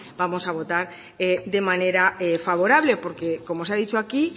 vamos a votar de manera favorable porque como se ha dicho aquí